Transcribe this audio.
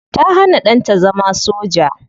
Ta hana danta zama soja.